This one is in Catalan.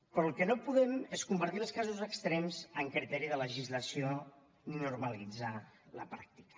però el que no podem és convertir els casos extrems en criteri de legislació i normalitzar ne la pràctica